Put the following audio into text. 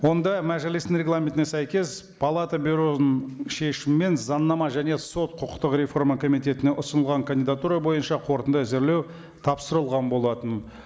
онда мәжілістің регламентіне сәйкес палата бюроның шешуімен заңнама және сот құқықтық реформа комитетіне ұсынылған кандидатура бойынша қорытынды әзірлеу тапсырылған болатын